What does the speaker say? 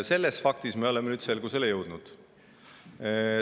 Selles faktis me oleme nüüd selgusele jõudnud.